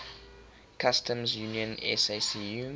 customs union sacu